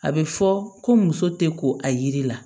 A bɛ fɔ ko muso tɛ ko a yiri la